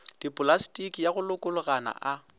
dipolastiki ya go lokologana a